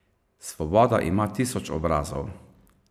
Svoboda ima tisoč obrazov.